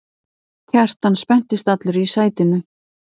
Kjartan spenntist allur í sætinu.